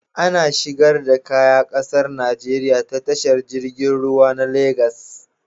Ana shigo da Kaya ƙasar Nigeria ta tashar jirgin ruwa na Lagos